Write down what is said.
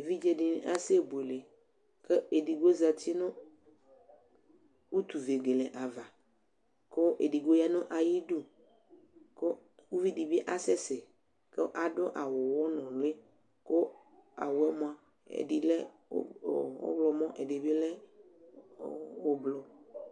evidzɛ dini asɛ buɛlɛ kʋ ɛdigbo zati nʋ ʋtʋvɛgɛlɛ aɣa kʋ ɛdigbo ya nʋ ayi dʋ kʋ ʋvi dibi asɛ sɛ kʋ adʋ awʋ ʋwɔ nʋli kʋ awʋɛ mʋa ɛdi lɛ ɔwʋlɔ mʋ ɛdi lɛ ʋblɔ